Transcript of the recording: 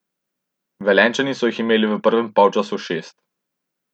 Velenjčani so jih imeli v prvem polčasu šest.